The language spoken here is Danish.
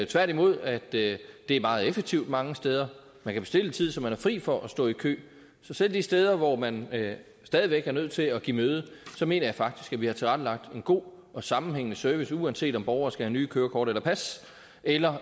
tværtimod at det er meget effektivt mange steder man kan bestille en tid så man er fri for at stå i kø så selv de steder hvor man stadig væk er nødt til at give møde mener jeg faktisk at vi har tilrettelagt en god og sammenhængende service uanset om borgere skal have nye kørekort eller pas eller